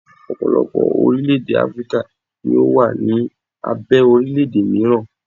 ọpọlọpọ orilẹ ede Afirika ni o wa ni abe orilẹ ede miran